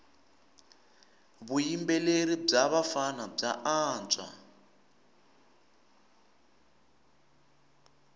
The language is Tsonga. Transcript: vuyimbeleri bya vafana bya antswa